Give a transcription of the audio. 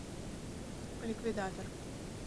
ликвидатор